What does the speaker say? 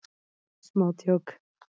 Smá djók.